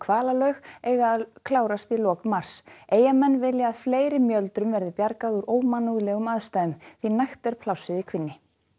hvalalaug eiga að klárast í lok mars Eyjamenn vilja að fleiri mjöldrum verði bjargað úr ómannúðlegum aðstæðum því nægt er plássið í kvínni